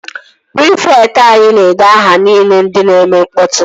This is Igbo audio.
Prịfekt anyi na-ede aha ndị nile na-eme mkpọtụ